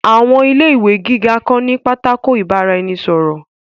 Àwọn ilé ìwé gíga kan ní pátákó ìbára-ẹni-sọ̀rọ̀